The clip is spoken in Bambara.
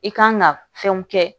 I kan ka fɛnw kɛ